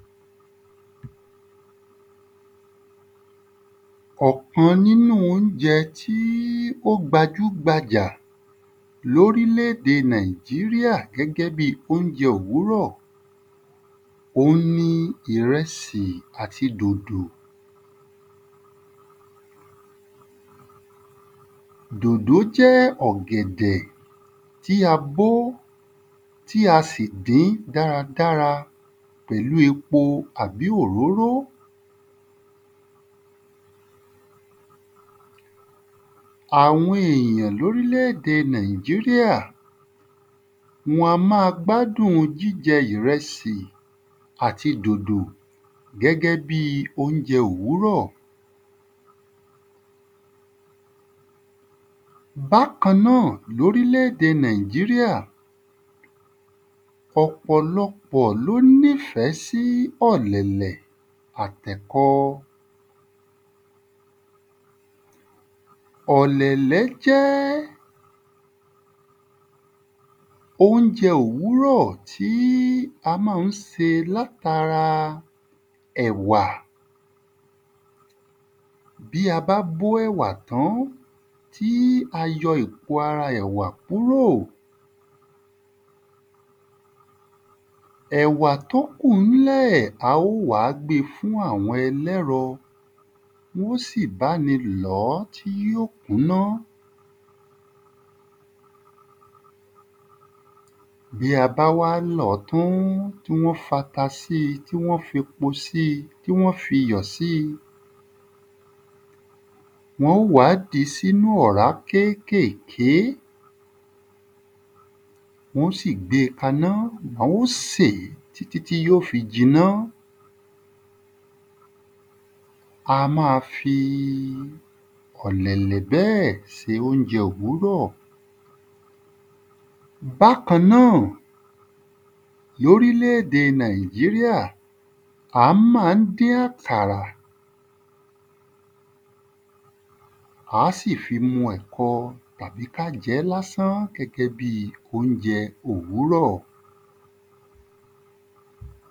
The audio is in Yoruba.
Ọ̀kan n’ínú óunjẹ tí ó gbajúgbajà l'órílédè Nàìjíríà gẹ́gẹ́ bi óunjẹ òwúrọ̀ òun ni ìrẹsì àti dòdò. Dòdò jẹ́ ọ̀gẹ̀dẹ̀ tí a bó tí a sì dín dáradára pẹ̀lú epo àbí òróró. Àwọn èyàn l'órílédè Nàìjíríà, wọn a má a gbádùn jíjẹ ìrẹsì àti dòdò gẹ́gẹ́ bi óunjẹ òwúrọ̀. Bákan náà l'órílédè Nàìjíríà, ọ̀pọ̀lọpọ̀ l’ó ní fẹ́ sí ọ̀lẹ̀lẹ̀ àt’ẹ̀kọ. Ọ̀lẹ̀lẹ̀ jẹ́ óunjẹ òwúrọ̀ tí a má ń se l’át’ara ẹ̀wà Bí a bá bó ẹ̀wà tán, tí a yọ èpo ẹ̀wà kúrò, ẹ̀wà t’ó kù ńlẹ̀ á ó wá gbefún àwọn ẹlẹ́rọ. Wọ́n sì bá ni lọ̀ọ́ tí yó kúná Bí a bá wá lọ̀ọ́ tán tí wọ́n f'ata sí i, tí wọ́n f'epo sí i, tí wọ́n f'iyò sí i, wọ́n ó wá dí s'ínú ọ̀rá kékèké Wọ́n ó sì gbé e k’aná. A ó sè tí tí tí y’ó fi jiná. A má a fi ọ̀lẹ̀lẹ̀ bẹ́ẹ̀ se óunjẹ òwúrọ̀. Bákan náà l'órílédè Nàìjíríà, á má ń dín àkàrà á sì fi mu ẹ̀kọ́ àbí k’á jẹ́ l'ásán gẹ́gẹ́ bi óunjẹ òwúrọ̀.